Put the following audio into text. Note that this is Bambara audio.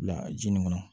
Bila ji nin kɔnɔ